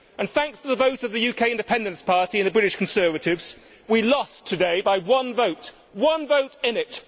Thanks to the votes of the UK Independence Party and the British Conservatives, we lost today by one vote there was one vote in it.